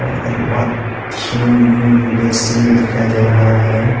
एक washing basin भी दिखाई दे रहा है।